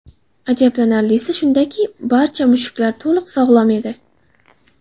Ajablanarlisi shundaki, barcha mushuklar to‘liq sog‘lom edi.